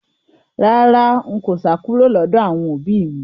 Rárá, n kò sá kúrò lọ́dọ̀ àwọn òbí mi